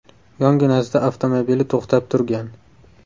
Yonginasida avtomobili to‘xtab turgan.